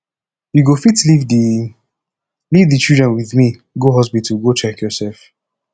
you go fit leave the fit leave the children with me go hospital go check yourself